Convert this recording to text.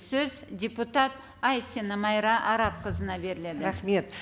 сөз депутат айсина майра арапқызына беріледі рахмет